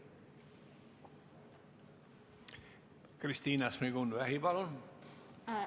Kristina Šmigun-Vähi, palun!